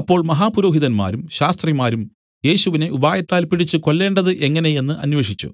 അപ്പോൾ മഹാപുരോഹിതന്മാരും ശാസ്ത്രിമാരും യേശുവിനെ ഉപായത്താൽ പിടിച്ച് കൊല്ലേണ്ടത് എങ്ങനെ എന്നു അന്വേഷിച്ചു